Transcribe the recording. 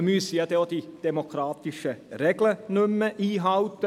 Man müsste auch die demokratischen Regeln nicht mehr einhalten.